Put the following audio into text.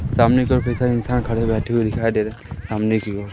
सामने की ओर कई सारे इंसान खड़े बैठे हुए दिखाई दे रहे हैं सामने की ओर।